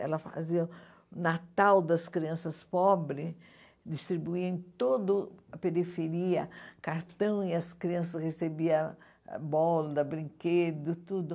Ela fazia o Natal das crianças pobre, distribuía em todo a periferia cartão, e as crianças recebiam bolas, brinquedos, tudo.